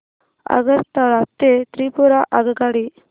आगरतळा ते त्रिपुरा आगगाडी